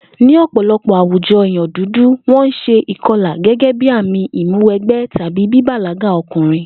Ní ò̩pò̩lo̩pò̩ àwùjo̩ èèyàn dúdú, wó̩n ń s̩e ìko̩là gé̩gé̩ bí àmì ìmúwe̩gbé̩ tàbí bíbàlágà o̩kùnrin